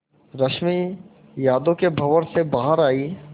रश्मि यादों के भंवर से बाहर आई